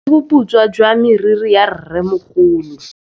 Ke bone boputswa jwa meriri ya rrêmogolo.